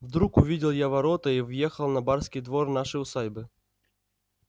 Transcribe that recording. вдруг увидел я ворота и въехал на барский двор нашей усадьбы